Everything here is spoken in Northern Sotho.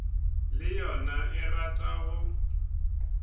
le yona e rata go